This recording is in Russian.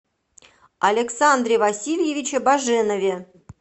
александре васильевиче баженове